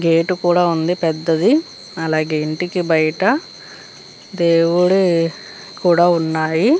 Gate కూడా ఉంది పెద్దది అలాగే ఇంటికి బయట డేవిడ్ వి కూడా ఉన్నాయి.